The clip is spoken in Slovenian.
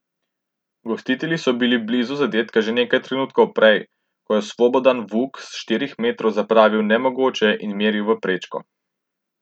Gostitelji so bili blizu zadetka že nekaj trenutkov prej, ko je Slobodan Vuk s štirih metrov zapravil nemogoče in meril v prečko.